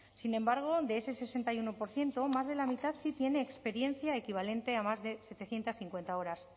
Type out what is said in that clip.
sin embargo de ese sesenta y uno por ciento más de la mitad sí tiene experiencia equivalente a más de setecientos cincuenta horas